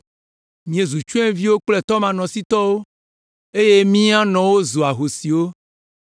Míezu tsyɔ̃eviwo kple tɔmanɔsitɔwo eye mía nɔwo zu ahosiwo.